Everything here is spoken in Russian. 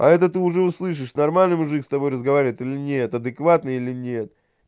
а это ты уже услышишь нормальный мужик с тобой разговаривает или нет адекватный или нет